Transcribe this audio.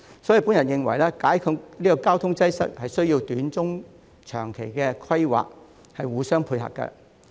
因此，我認為解決交通擠塞需要短、中、長期的規劃互相配合。